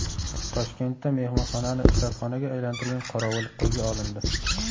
Toshkentda mehmonxonani ishratxonaga aylantirgan qorovul qo‘lga olindi.